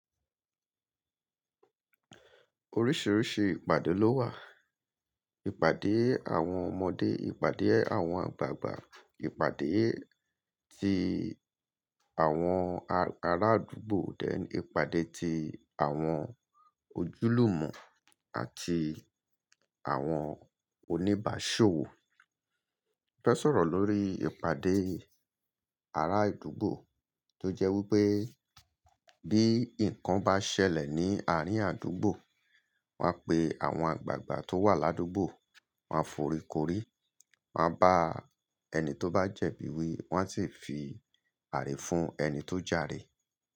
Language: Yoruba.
Oríṣìíríṣìí ìpàdé ló wà. Ìpàdé àwọn ọmọdé, ìpàdé àwọn àgbàgbà, ìpàdé ti àwọn ará àdúgbò, ìpàdé ti àwọn ojúlùmọ̀ àti àwọn oníbàáṣòwò. Mo fẹ́ sọ̀rọ̀ lórí ìpàdé ará àdúgbò tó jẹ́ wípé bí ǹkan bá ṣẹlẹ̀ ní àárín àdúgbò, wón a pé àwọn àgbàgbà tó wà ládúgbò won a foríkórí, won a bá ẹni tó bá jẹ̀bi wí, wón sì fi ààrẹ fún ẹni tó jàre.